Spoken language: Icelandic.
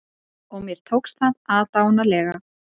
Og mér tókst það aðdáunarlega.